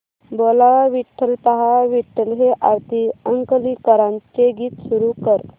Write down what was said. बोलावा विठ्ठल पहावा विठ्ठल हे आरती अंकलीकरांचे गीत सुरू कर